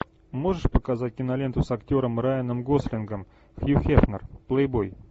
можешь показать киноленту с актером райаном гослингом хью хефнер плейбой